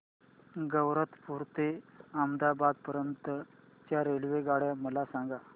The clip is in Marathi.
गैरतपुर ते अहमदाबाद पर्यंत च्या रेल्वेगाड्या मला सांगा